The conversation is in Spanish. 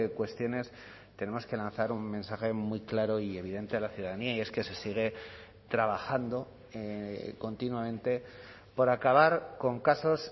cuestiones tenemos que lanzar un mensaje muy claro y evidente a la ciudadanía y es que se sigue trabajando continuamente por acabar con casos